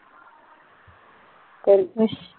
ਕਰ ਅੱਛਾ